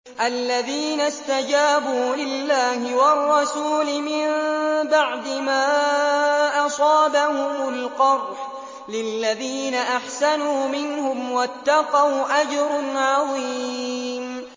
الَّذِينَ اسْتَجَابُوا لِلَّهِ وَالرَّسُولِ مِن بَعْدِ مَا أَصَابَهُمُ الْقَرْحُ ۚ لِلَّذِينَ أَحْسَنُوا مِنْهُمْ وَاتَّقَوْا أَجْرٌ عَظِيمٌ